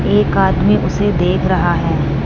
एक आदमी उसे देख रहा है।